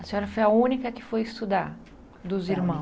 A senhora foi a única que foi estudar dos irmãos?